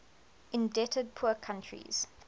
indebted poor countries